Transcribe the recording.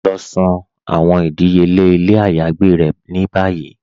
Lọ san àwọn ìdíyèle ilẹ̀ àyágbè rẹ̀ ní báyí.